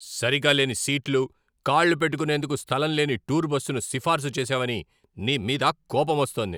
సరిగా లేని సీట్లు, కాళ్ళు పెట్టుకునేందుకు స్థలం లేని టూర్ బస్సును సిఫార్సు చేసావని నీ మీద కోపమొస్తోంది.